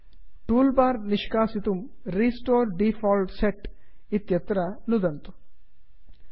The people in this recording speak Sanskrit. टूल् बार् निष्कासितुं restore default set restore default set इति इत्यत्र नुदन्तु